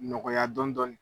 Nɔgɔya dɔɔnin dɔɔnin.